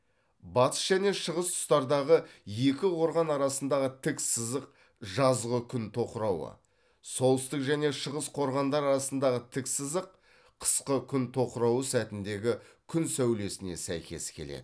батыс және шығыс тұстардағы екі қорған арасындағы тік сызық жазғы күн тоқырауы солтүстік және шығыс қорғандар арасындағы тік жазық қысқы күн тоқырауы сәтіндегі күн сәулесіне сәйкес келеді